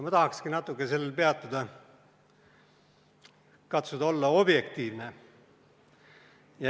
Ma tahakski natuke sellel peatuda, katsuda olla objektiivne.